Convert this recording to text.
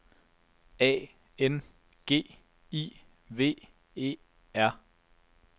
A N G I V E R